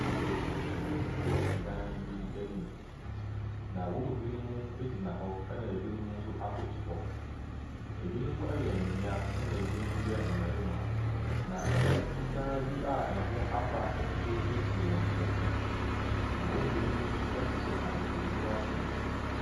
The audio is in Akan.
Aborɔfo binom wɔ dan no anim, na wɔn mu binom gyina hɔ na binom nso akoto hɔ. Binom yɛ mmea na bi nso yɛ mmarima. Na dan fitaa bi a ɛho apa nso si wɔn akyi. Na wɔn mu binom nso hyehyɛ ahwehwɛniwa tuntum.